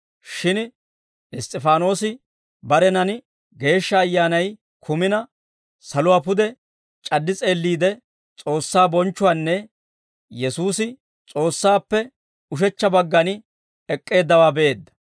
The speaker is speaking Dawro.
Shin Iss's'ifaanoosi barenan Geeshsha Ayyaanay kumina, saluwaa pude c'addi s'eelliide, S'oossaa bonchchuwaanne Yesuusi S'oossaappe ushechcha baggan ek'k'eeddawaa be'eedda.